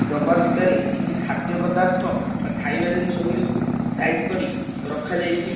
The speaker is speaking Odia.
ଡବା ଭିତରେ କିଛି ଖାଦ୍ୟ ପଦାର୍ଥ ବା ଖାଇବା ଜିନିଷ ଗୁଡ଼ିକୁ ସାଇଜ କରି ରଖା ଯାଇଚି।